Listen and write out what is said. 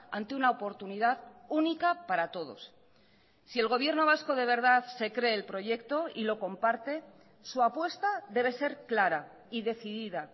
ante una oportunidad única para todos si el gobierno vasco de verdad se cree el proyecto y lo comparte su apuesta debe ser clara y decidida